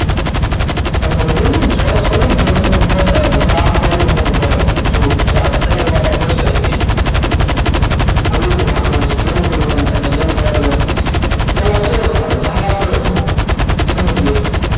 most imp છે આ ગોખી નાખવાની છે જેમ કરવું હોય એમ તમને જેમ યાદ રેહ સમજીએ